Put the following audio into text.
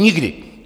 Nikdy!